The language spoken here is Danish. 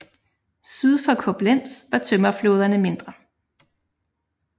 Syd for Koblenz var tømmerflåderne mindre